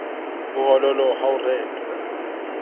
ho hoholo ha ho rentwa